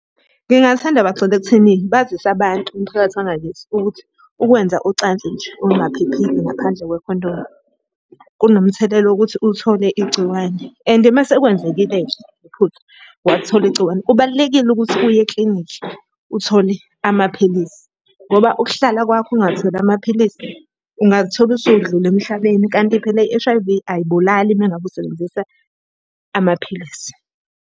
Ngingathanda bagxile ekutheni bazise abantu umphakathi wangakithi ukuthi, ukwenza ucansi nje olungaphephile ngaphandle kwekhondomu kunomthelela wokuthi uthole igciwane. And uma sekwenzekile-ke iphutha, wathola igciwane kubalulekile ukuthi uye eklinikhi uthole amaphilisi. Ngoba ukuhlala kwakho ungatholi amaphilisi ungazithola usudlula emhlabeni kanti phela i-H_I_V ayibulali uma ngabe usebenzisa amaphilisi.